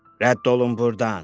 Rədd olun burdan.